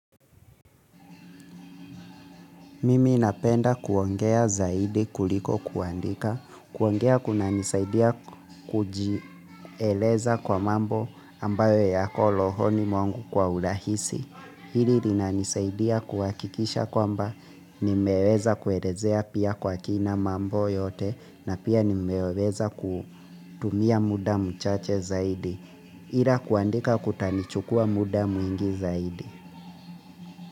Mimi napenda kuongea zaidi kuliko kuandika. Kuongea kunanisaidia kujieleza kwa mambo ambayo yako rohoni mwangu kwa urahisi. Hili ninanisaidia kuhakikisha kwamba nimeweza kuelezea pia kwa kina mambo yote na pia nimeweza kutumia muda mchache zaidi. Ila kuandika kutanichukua muda mwingi zaidi.